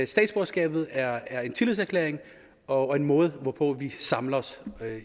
statsborgerskabet er er en tillidserklæring og en måde hvorpå vi samler os